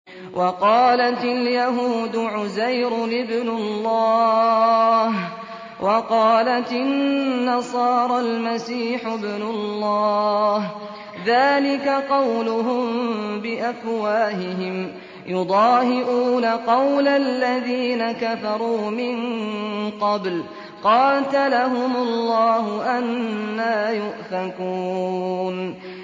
وَقَالَتِ الْيَهُودُ عُزَيْرٌ ابْنُ اللَّهِ وَقَالَتِ النَّصَارَى الْمَسِيحُ ابْنُ اللَّهِ ۖ ذَٰلِكَ قَوْلُهُم بِأَفْوَاهِهِمْ ۖ يُضَاهِئُونَ قَوْلَ الَّذِينَ كَفَرُوا مِن قَبْلُ ۚ قَاتَلَهُمُ اللَّهُ ۚ أَنَّىٰ يُؤْفَكُونَ